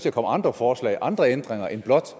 at komme andre forslag og andre ændringer end blot